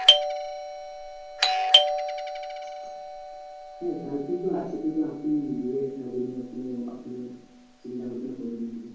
হ্যাঁ girlfriend তো আছে কিন্তু এখন বিয়ে সাধি নিয়ে কোনো এখনো চিন্তা ভাবনা করিনি এখনো।